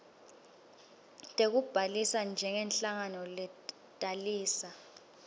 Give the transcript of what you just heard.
tekubhalisa njengenhlangano letalisa